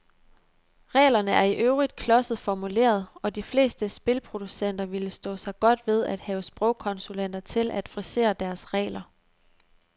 Reglerne er i øvrigt klodset formuleret, og de fleste spilproducenter ville stå sig godt ved at have sprogkonsulenter til at frisere deres regler.